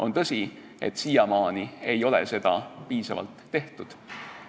On tõsi, et siiamaani ei ole seda piisavalt tehtud.